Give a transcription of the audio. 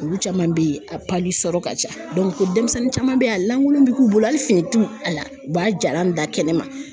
Olu caman bɛ ye a sɔrɔ ka ca ko denmisɛnnin caman be yen a lankolon bɛ k'u bolo hali finitu a la u b'a jalan bila kɛnɛma